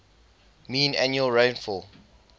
mean annual rainfall